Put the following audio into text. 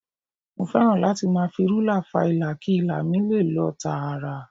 Mo fẹ́ràn láti máa fi rúlà fa ilà kí ilà mi lè lọ tààrà